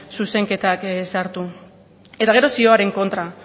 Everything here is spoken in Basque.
zuzenketak sartu eta gero zioaren kontra